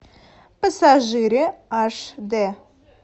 пассажиры аш д